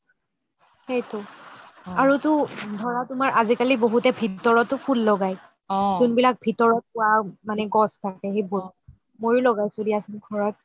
সেইটো আৰু টো ধৰা তুমাৰ আজিকালি ভিতৰতে ফুল লগাই যোন বিলাক ভিতৰত ৰুৱা গছ থাকে সেইবোৰ মইয়ো লগাইছো দিয়াচোন ঘৰত